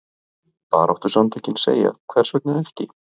Baráttusamtökin segja hvers vegna ekki?